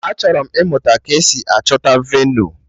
Achọrọ m ịmụta ka-esi achọta venu